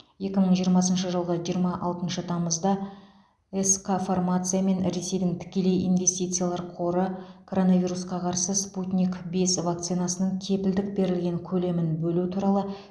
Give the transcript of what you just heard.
екі мың жиырмасыншы жылғы жиырма алтыншы тамызда сқ фармация мен ресейдің тікелей инвестициялар қоры коронавирусқа қарсы спутник бес вакцинасының кепілдік берілген көлемін бөлу туралы